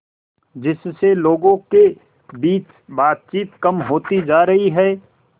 जिससे लोगों के बीच बातचीत कम होती जा रही है